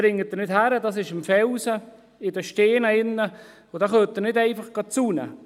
Dies ist nicht möglich, denn diese sind im Felsen, in den Steinen, und dort können Sie nicht einfach zäunen.